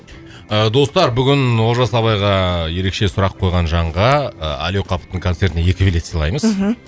достар бүгін олжас абайға ерекше сұрақ қойған жанға әли оқаповтың концертіне екі билет сыйлаймыз мхм